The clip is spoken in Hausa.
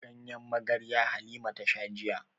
Ganyen magarya Halima ta sha jiya.